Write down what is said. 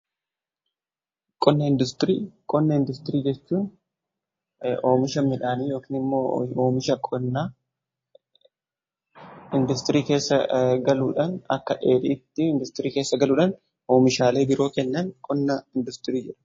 Qonna industirii jechuun oomisha midhaanii yookiin midhaa industirii keessa galuudhan akka dheedhiitti industirii keessa galuudhan oomishaalee biroo kennan qonnaa industirii jedhama.